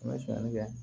N bɛ sonyali kɛ